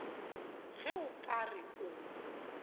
ge o ka re o